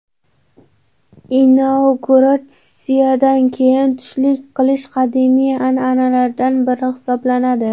Inauguratsiyadan keyin tushlik qilish qadimiy an’analardan biri hisoblanadi.